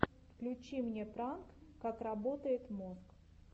включи мне пранк как работает мозг